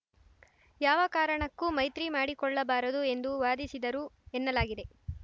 ಯಾವ ಕಾರಣಕ್ಕೂ ಮೈತ್ರಿ ಮಾಡಿಕೊಳ್ಳಬಾರದು ಎಂದು ವಾದಿಸಿದರು ಎನ್ನಲಾಗಿದೆ